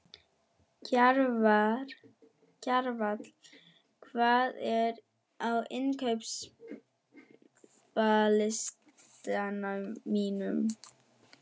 Kjarval, hvað er á innkaupalistanum mínum?